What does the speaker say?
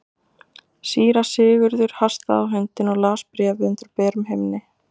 Síra Sigurður hastaði á hundinn og las bréfið undir berum himni.